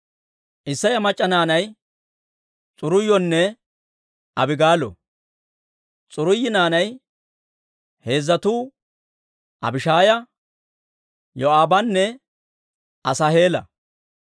Isseya mac'c'a naanay S'aruuyonne Abigaalo. S'aruuyi naanay heezzatuu Abishaaya, Yoo'aabanne Asaaheela.